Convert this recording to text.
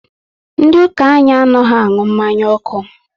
Ndị ụka anyị anaghị anụ mmanya ọkụ